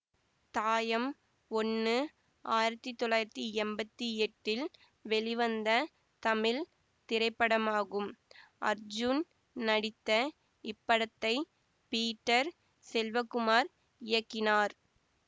தாயம் ஒண்ணு ஆயிரத்தி தொள்ளாயிரத்தி எம்பத்தி எட்டில் வெளிவந்த தமிழ் திரைப்படமாகும் அர்ஜூன் நடித்த இப்படத்தை பீட்டர் செல்வகுமார் இயக்கினார்